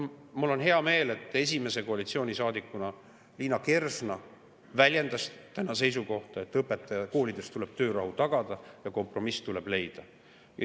Mul on hea meel, et esimese koalitsioonisaadikuna väljendas Liina Kersna täna seisukohta, et koolides tuleb töörahu tagada ja kompromiss tuleb leida.